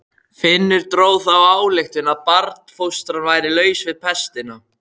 Finnur dró þá ályktun að barnfóstran væri laus við pestina.